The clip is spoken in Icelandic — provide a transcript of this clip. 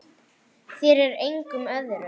Hvað ætlar hann að gera?